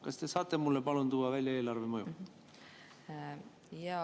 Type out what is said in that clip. Kas te saate mulle, palun, tuua välja eelarvemõju?